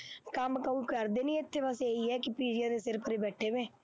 ਕੰਮ ਕੁੰਮ ਕਰਦੇ ਨਹੀਂ, ਇੱਥੇ ਬਸ ਇਹੀ ਹੈ ਕਿ ਪੀਜ਼ੀਆਂ ਦੇ ਸਿਰ ਤੇ ਬੈਠੇ ਨੇ,